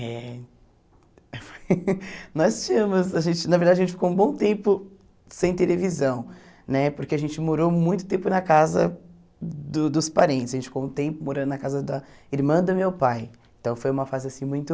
É, nós tínhamos, a gente na verdade a gente ficou um bom tempo sem televisão, né, porque a gente morou muito tempo na casa do dos parentes, a gente ficou um tempo morando na casa da irmã do meu pai, então foi uma fase assim muito...